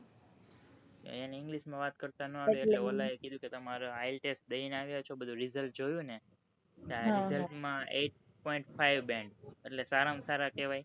એને english માં વાત કરતા ના આવડ્યું એટલે ઓલા એ કીધું કે તમે ITLS દઈ ને આવ્યા છો બધું result જોયું ને result માં eight point fiveband એટલે સારા માં સારા કેહવાય